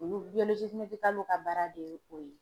Olu ka baara de ye o ye.